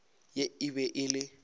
ye e be e le